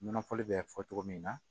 Nɔnɔ fɔli bɛ fɔ cogo min na